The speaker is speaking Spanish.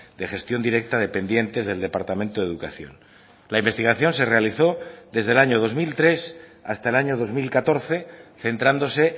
de gestión directa dependientes del departamento de educación la investigación se realizó desde el año dos mil tres hasta el año dos mil catorce centrándose